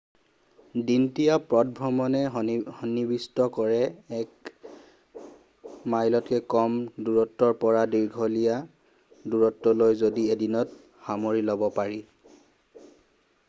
দিনতীয়া পদভ্ৰমণে সন্নিবিষ্ট কৰে এক মাইলতকৈ কম দূৰত্বৰ পৰা দীঘলীয়া দূৰত্বলৈ যি এদিনত সামৰি ল'ব পাৰি